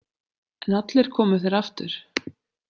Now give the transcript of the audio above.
En allir komu þeir aftur.